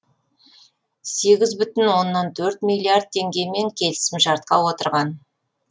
сегіз бүтін оннан төрт миллиард теңгемен келісімшартқа отырған